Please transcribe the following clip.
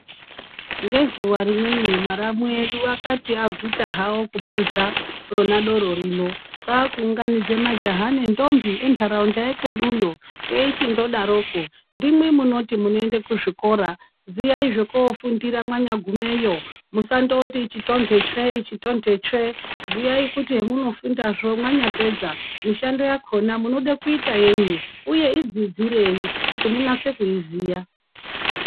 Ngezuwa rimweni mwaramu edu akati aguta hawo kupuza rona doro rino kwaaku unganidza majaha nendombi menharaunda yekweduyo eichi ndodaroko ndimwi munoti minoenda kuzvikora ziyai zvoko fundira mwanyagu meyo musandoti ichi tonhe tsve tonhe tsve ziyai kuti hemuno fundazvo mwanyapedza mishando yakona munoda kuita yenyi uye idzidzirei munatse kuiziya